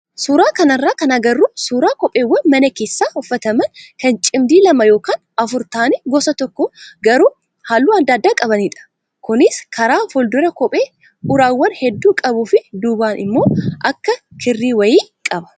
Suuraa kanarraa kan agarru suuraa kopheewwan mana keessa uffataman kan cimdii lama yookaan afur ta'anii gosa tokko garuu halluu adda addaa qabanidha. Kunis karaa fuulduraa kophee uraawwan hedduu qabuu fi duubaan immoo akka kirrii wayii qaba.